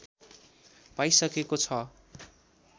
पाइसकेको छ